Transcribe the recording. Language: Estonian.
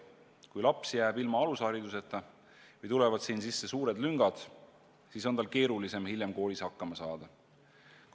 Kui laps jääb ilma alushariduseta või tulevad selles sisse suured lüngad, siis on tal keerulisem hiljem koolis hakkama saada.